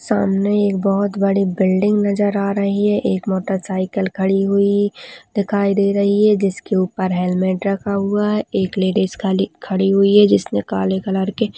सामने एक बहुत बड़ी बिल्डिंग नजर आ रही है एक मोटरसाइकिल खड़ी हुई दिखाई दे रही है जिसके ऊपर हेल्मेट रखा हुआ है एक लेडिस खाली खड़ी हुई है जिसने काले कलर के--